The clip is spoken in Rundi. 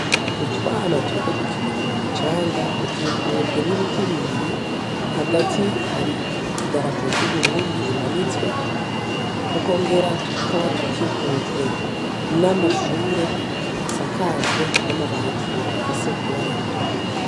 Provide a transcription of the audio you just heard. Utwana turiko dukinira mu micanga dukikujwe n'ibiti bibiri hagati hari idarapo ryu Burundi rimanitswe tukongera tukaba dukikujwe n'amashure asakajwe n'amabati afise ibara ritukura.